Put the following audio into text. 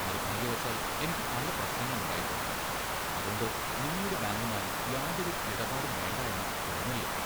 നിർഭാഗ്യവശാൽ എനിക്ക് പല പ്രശ്നങ്ങൾ ഉണ്ടായിട്ടുണ്ട്, അതോണ്ട് നിങ്ങളുടെ ബാങ്കുമായി യാതൊരു ഇരുപാടും വേണ്ട എന്ന തോന്നലിലെത്തി.